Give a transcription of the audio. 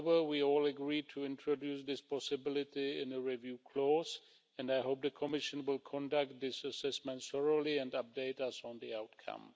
However, we all agreed to introduce this possibility in a review clause, and I hope the Commission will conduct these assessments thoroughly and update us on the outcome.